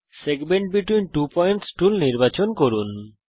segment between two points tool নির্বাচন করুন